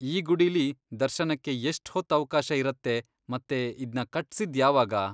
ಈ ಗುಡಿಲಿ ದರ್ಶನಕ್ಕೆ ಎಷ್ಟ್ ಹೊತ್ತ್ ಅವ್ಕಾಶ ಇರತ್ತೆ ಮತ್ತೆ ಇದ್ನ ಕಟ್ಸಿದ್ದ್ ಯಾವಾಗ?